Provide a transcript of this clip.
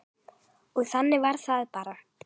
Og þannig var það bara.